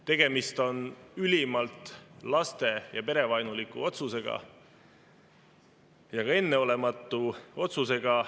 Tegemist on ülimalt laste- ja perevaenuliku otsusega ning ka enneolematu otsusega.